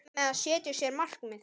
Hvað með að setja sér markmið?